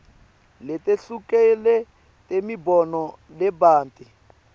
letehlukile temibono lebanti